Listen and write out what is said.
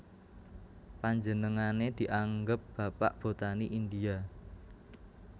Panjenengané dianggep Bapak Botani India